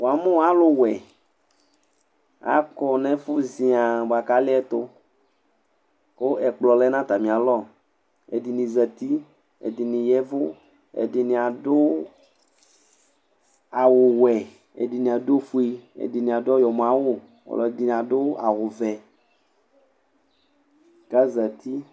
ṅɑmụ ɑlụwʊɛ ɑkõɲɛfụ ziɑɑɑ bụɑkɑliɛtu ku ɛkploọ lɛ ɲɑtɑmiɑlɔ ẽɗiɲizɑti ɛɗiɲiyɛvụ ẽɗiɲiɑɗʊ ɑwωwẽ ɛɗiɲiɑɗʊ õfụɛ ɛdiɲiɑɗụ ɔyọmõɑWụ ɔlọɗiɲiɑɗụ ɑwụvẽ kɑzɑti